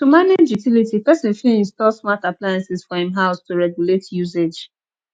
to manage utiility person fit install smart appliances for im house to regulate usage